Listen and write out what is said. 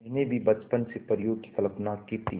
मैंने भी बचपन से परियों की कल्पना की थी